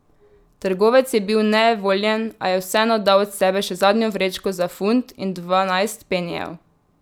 Trgovec je bil nejevoljen, a je vseeno dal od sebe še zadnjo vrečko za funt in dvanajst penijev.